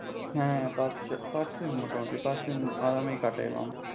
হ্যাঁ পাঁচ দিন মোটামুটি পাঁচ দিন আরামেই কাটাইলাম।